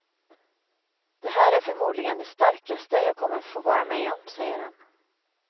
Det här är förmodligen det starkaste jag kommer att få vara med om, säger han.